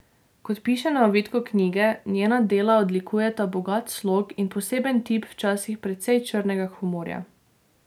Kot piše na ovitku knjige, njena dela odlikujeta bogat slog in poseben tip včasih precej črnega humorja.